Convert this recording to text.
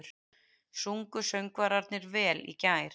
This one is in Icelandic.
Sungu söngvararnir vel í gær?